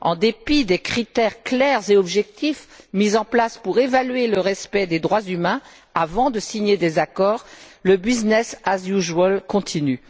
En dépit des critères clairs et objectifs mis en place pour évaluer le respect des droits humains avant de signer des accords, le business as usual continue.